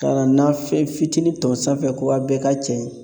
Ka nafɛn fitinin ton sanfɛ ko a' bɛɛ k'a cɛ